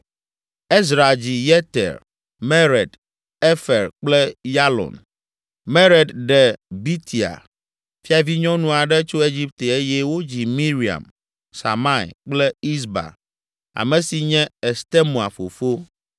Ezra dzi Yeter, Mered, Efer kple Yalon. Mered ɖe Bitia, fiavinyɔnu aɖe tso Egipte eye wodzi Miriam, Samai kple Isba, ame si nye Estemoa fofo.